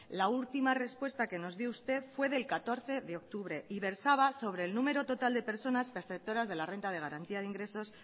la última respuesta que nos dio usted fue del catorce de octubre y versaba sobre el número total de personas perceptoras de la renta de garantía de ingresos